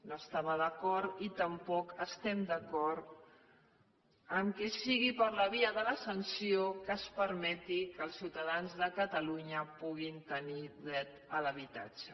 no hi estava d’acord i tampoc no estem d’acord que sigui per la via de la sanció que es permeti que els ciutadans de catalunya puguin tenir dret a l’habitatge